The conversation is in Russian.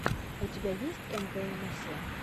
у тебя есть эмвээмэсе